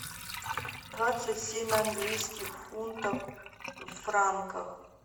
двадцать семь английских фунтов в франках